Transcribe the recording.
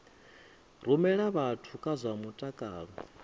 rumela vhathu kha zwa mutakalo